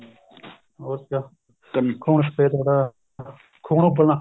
ਹੋਰ ਕਿਆ ਖੂਨ ਸ਼ਫ਼ੇਦ ਹੋਣਾ ਖੂਨ ਉੱਬਲਨਾ